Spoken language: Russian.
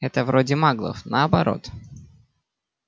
это вроде маглов наоборот